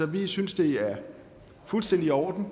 vi synes det er fuldstændig i orden og